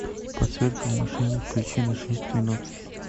подсветка в машине включи на шесть минут